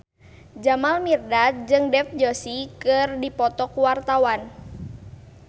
Jamal Mirdad jeung Dev Joshi keur dipoto ku wartawan